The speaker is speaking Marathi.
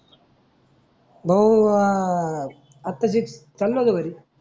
भाऊ वाह आता जीत चाललो होतो घरी.